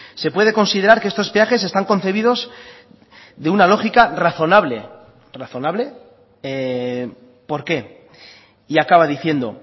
se puede considerar que estos peajes están concebidos de una lógica razonable razonable por qué y acaba diciendo